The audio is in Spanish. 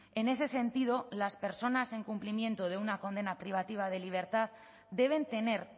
en ese sentido las personas en cumplimiento de una condena privativa de libertad deben tener